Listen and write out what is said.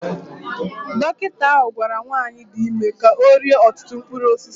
Dọkịta ahụ gwara nwanyị dị ime ka ọ rie ọtụtụ mkpụrụ osisi